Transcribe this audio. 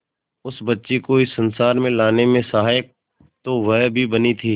उस बच्ची को इस संसार में लाने में सहायक तो वह भी बनी थी